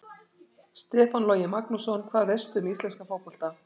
Stefán Logi Magnússon Hvað veistu um íslenska fótbolta?